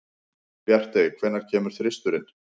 Bjartey, hvenær kemur þristurinn?